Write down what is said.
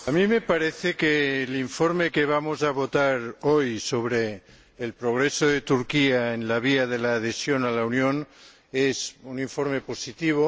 A mí me parece que el informe que vamos a votar hoy, sobre el progreso de Turquía en la vía de adhesión a la Unión, es un informe positivo.